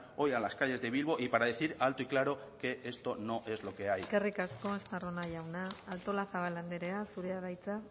hoy a las calles de bilbo y para decir alto y claro que esto no es lo que hay eskerrik asko estarrona jauna artolazabal andrea zurea da hitza